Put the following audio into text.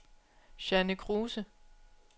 Jeanne Kruse